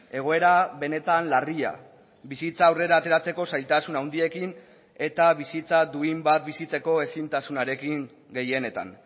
egoera benetan larria bizitza aurrera ateratzeko zailtasun handiekin eta bizitza duin bat bizitzeko ezintasunarekin gehienetan